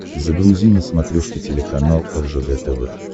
загрузи на смотрешке телеканал ржд тв